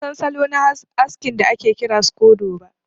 Ban san salo na haskin da ake kira scodo ba.